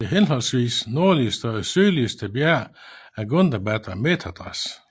Det henholdsvis nordligste og sydligste bjerg er Gundabad og Methedras